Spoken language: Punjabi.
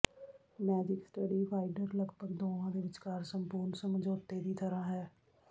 ਮੈਜਿਕ ਸਟੱਡੀ ਫਾਈਂਡਰ ਲਗਭਗ ਦੋਵਾਂ ਦੇ ਵਿਚਕਾਰ ਸੰਪੂਰਨ ਸਮਝੌਤੇ ਦੀ ਤਰ੍ਹਾਂ ਹੈ